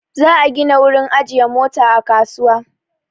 Za'a gina wurin ajiye Mota a kasuwa.